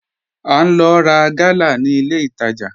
À n lò rá gàlà ní ilẹ̀ ìtajà